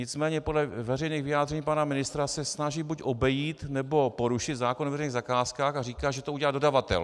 Nicméně podle veřejných vyjádření pana ministra se snaží buď obejít, nebo porušit zákon o veřejných zakázkách a říká, že to udělá dodavatel.